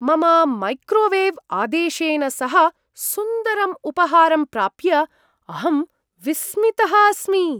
मम मैक्रोवेव् आदेशेन सह सुन्दरम् उपहारं प्राप्य अहं विस्मितः अस्मि।